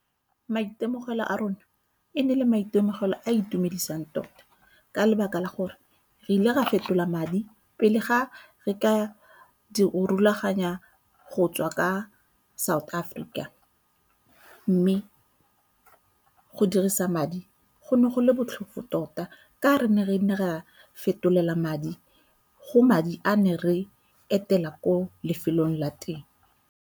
Maitemogelo a rona e ne e le maitemogelo a itumedisang tota ka lebaka la gore re ile ra fetola madi pele ga re ka rulaganya go tswa ka South Africa, mme go dirisa madi go ne go le botlhofo tota ka re ne re ne ra fetolela madi go madi a ne re etela ko lefelong la teng.